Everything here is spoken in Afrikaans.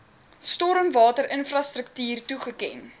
stormwater infrastruktuur toegeken